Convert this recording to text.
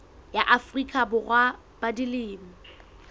ya afrika borwa ba dilemo